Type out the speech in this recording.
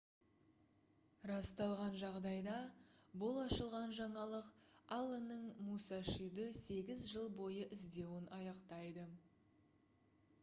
расталған жағдайда бұл ашылған жаңалық алленнің мусашиді сегіз жыл бойы іздеуін аяқтайды